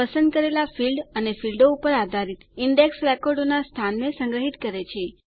પસંદ કરેલા ફીલ્ડ અથવા ફીલ્ડો ઉપર આધારિત ઈન્ડેક્સ રેકોર્ડોનાં સ્થાનને સંગ્રહિત કરે છે